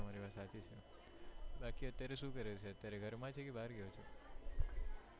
બાકી અત્યારે શું કરે છે ઘર માં છે કે બહાર ગયો છે?